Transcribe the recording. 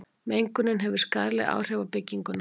mengunin hefur skaðleg áhrif á bygginguna